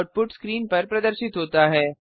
output screen पर प्रदर्शित होता है